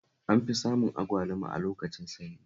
An fi samun agwluma a lokacin sanyi